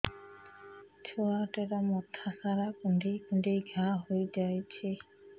ଛୁଆଟାର ମଥା ସାରା କୁଂଡେଇ କୁଂଡେଇ ଘାଆ ହୋଇ ଯାଇଛି